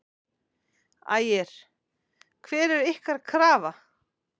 Ægir: Hver er ykkar krafa?